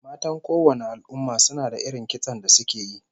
Matan kowanne al'umma suna da irin kitson da suke yi